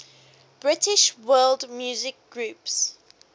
british world music groups